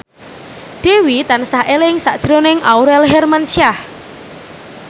Dewi tansah eling sakjroning Aurel Hermansyah